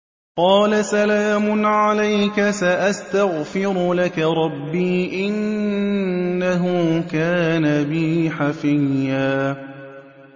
قَالَ سَلَامٌ عَلَيْكَ ۖ سَأَسْتَغْفِرُ لَكَ رَبِّي ۖ إِنَّهُ كَانَ بِي حَفِيًّا